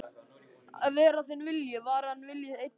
Að verði þinn vilji, var hans vilji einnig.